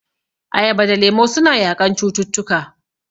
Ayaba da lemu suna yaƙan cututtuka..